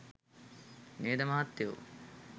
නේද මහත්තයො?